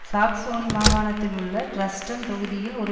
Saxony மாகாணத்திலுள்ள Dresden தொகுதியில் ஒரு